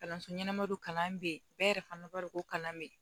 Kalanso ɲɛnama don kalan bɛ yen bɛɛ yɛrɛ fana b'a dɔn ko kalan bɛ yen